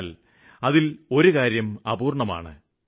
എന്നാല് അതില് ഒരു കാര്യം അപൂര്വണമാണ്